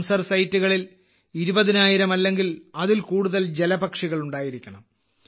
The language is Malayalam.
റാംസർ സൈറ്റുകളിൽ 20000 അല്ലെങ്കിൽ അതിൽ കൂടുതൽ ജലപക്ഷികൾ ഉണ്ടായിരിക്കണം